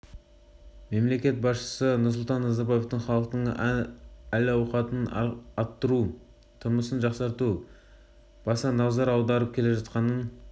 мемлекет басшысы нұрсұлтан назарбаевтың халықтың әл ауқатын арттыруға тұрмысын жақсартуға баса назар аударып келе жатқанын